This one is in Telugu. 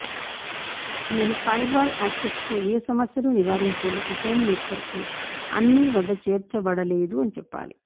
నేను ఫైర్వాల్ యాక్సెస్ తో ఏ సమస్యలు నివారించేందుకు హోమ్ నెట్వర్క్ లో అన్ని వద్ద చేర్చబడలేదు అని చెప్పాలి